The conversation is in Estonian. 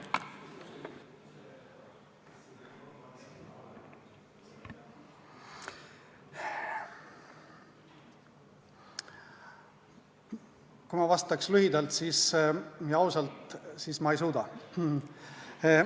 Kui ma vastaks lühidalt ja ausalt, siis ma ei suuda.